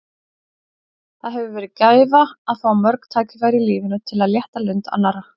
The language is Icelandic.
Það hefur verið gæfa að fá mörg tækifæri í lífinu til að létta lund annarra.